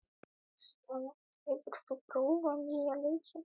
Messíana, hefur þú prófað nýja leikinn?